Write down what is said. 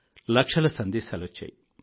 లక్షల సందేశాలొచ్చాయి